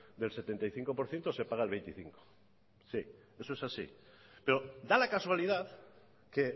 del setenta y cinco por ciento se paga el veinticinco eso es así pero da la casualidad que